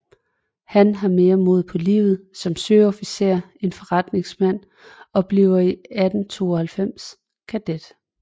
Han har mere mod på livet som søofficer end forretningsmand og bliver i 1892 kadet